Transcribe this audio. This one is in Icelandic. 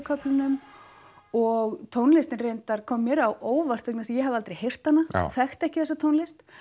köflunum og tónlistin reyndar kom mér á óvart vegna þess að ég hafði aldrei heyrt hana og þekkti ekki þessa tónlist